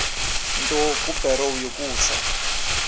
nto kubarrow yokusa